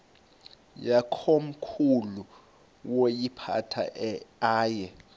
yakomkhulu woyiphatha aye